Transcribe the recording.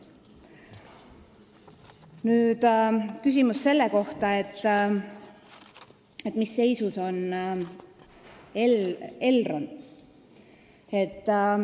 Nüüd küsimus selle kohta, mis seisus on Elron.